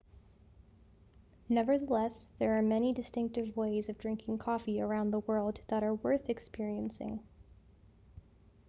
nevertheless there are many distinctive ways of drinking coffee around the world that are worth experiencing